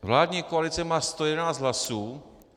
Vládní koalice má 111 hlasů.